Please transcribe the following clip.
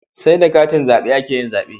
Sai da katin zabe akeyin zabe